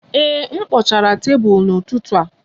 Ee, m kpochara tebụl n'ụtụtụ a